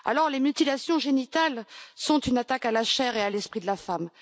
Les mutilations génitales sont une attaque à la chair et à l'esprit de la femme.